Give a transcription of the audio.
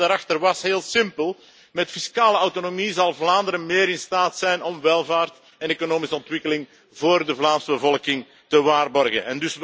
En de gedachte daarachter was heel simpel met fiscale autonomie zal Vlaanderen beter in staat zijn om welvaart en economische ontwikkeling voor de Vlaamse bevolking te waarborgen.